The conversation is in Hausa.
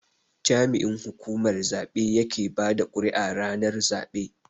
jami'in hukumar zabe yake bada kuri'a ranar zabe.